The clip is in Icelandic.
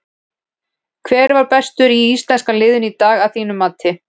Hver var bestur í íslenska liðinu í dag að þínu mati?